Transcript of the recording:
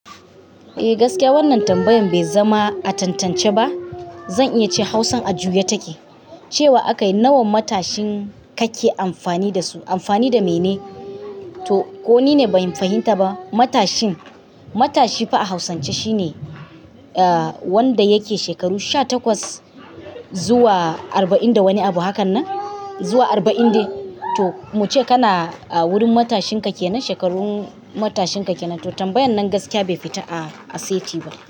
Eh gaskiya wannan tambayan bai zama a tantance ba. Zan iya ce Hausa a juya take. Cewa akayi "nawan matashin kake amfani da su" amfani da mene? To ko nine bai fahimta ba. Matashin. Matashi fa a hausance shine eh wanda yake shekaru sha takwas zuwa arba'in da wani abu hakan nan. Zuwa arba'in dai. To muce kana a wurin matashin ka kenan, shekarun matashinka ke nan. To tambayan nan gaskiya bai fita a a saiti ba.